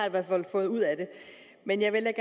i hvert fald fået ud af det men jeg vil